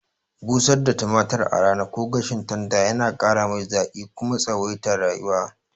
Busar da tumatir a rana ko gashin tanda yana ƙaramai zaƙi da kuma tsawaita rayuwa.